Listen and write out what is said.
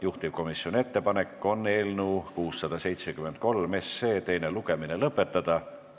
Juhtivkomisjoni ettepanek on eelnõu 673 teine lugemine lõpetada.